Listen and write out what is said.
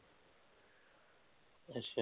ਅੱਛਾ